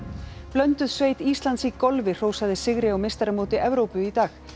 blönduð sveit Íslands í golfi hrósaði sigri á meistaramóti Evrópu í dag